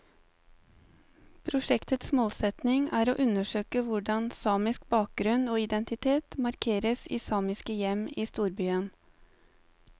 Prosjektets målsetning er å undersøke hvordan samisk bakgrunn og identitet markeres i samiske hjem i storbyen.